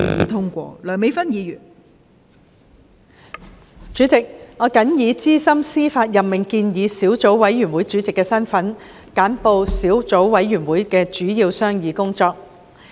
代理主席，我謹以資深司法任命建議小組委員會主席的身份，簡報小組委員會的主要商議工作。